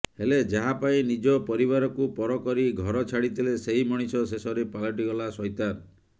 ହେଲେ ଯାହା ପାଇଁ ନିଜ ପରିବାରକୁ ପର କରି ଘର ଛାଡିଥିଲେ ସେହି ମଣିଷ ଶେଷରେ ପାଲଟିଗଲା ସୈତାନ